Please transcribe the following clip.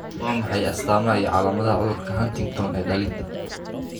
Waa maxay astaamaha iyo calaamadaha cudurka Huntington ee dhallinta?